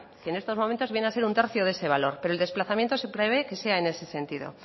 que en estos momentos viene a ser un tercio de ese valor pero el desplazamiento se prevé que sea en ese sentido